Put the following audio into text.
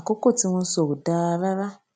àkókò tí wón sọ ó ò dáa rárá